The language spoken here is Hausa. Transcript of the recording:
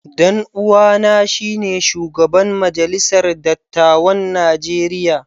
Dan uwana shine shugaban majalisar dattawan Najeriya.